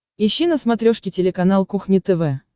ищи на смотрешке телеканал кухня тв